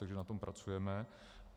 Takže na tom pracujeme.